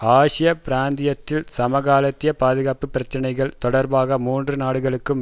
ஆசிய பிராந்தியத்தில் சமகாலத்திய பாதுகாப்பு பிரச்சனைகள் தொடர்பாக மூன்று நாடுகளுக்கும்